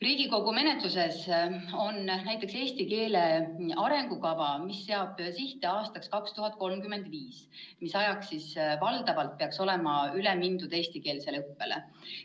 Riigikogu menetluses on näiteks eesti keele arengukava, mis seab sihte aastaks 2035, ajaks, kui valdavalt peaks olema üle mindud eestikeelsele õppele.